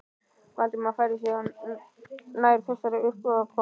Valdimar færði sig nær þessari uppákomu.